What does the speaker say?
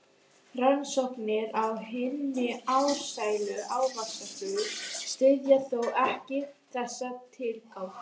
Rannsóknir á hinni ástsælu ávaxtaflugu styðja þó ekki þessa tilgátu.